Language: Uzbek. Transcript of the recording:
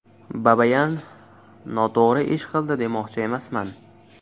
Babayan noto‘g‘ri ish qildi demoqchi emasman.